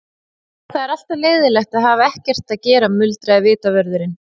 Já, það er alltaf leiðinlegt að hafa ekkert að gera muldraði vitavörðurinn.